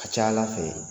A ka ca ala fɛ